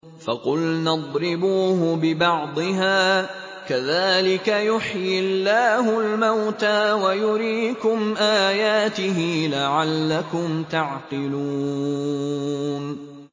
فَقُلْنَا اضْرِبُوهُ بِبَعْضِهَا ۚ كَذَٰلِكَ يُحْيِي اللَّهُ الْمَوْتَىٰ وَيُرِيكُمْ آيَاتِهِ لَعَلَّكُمْ تَعْقِلُونَ